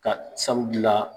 Ka sabu gila